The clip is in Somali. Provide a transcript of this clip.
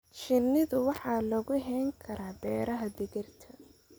Shinida waxaa lagu hayn karaa beeraha digirta.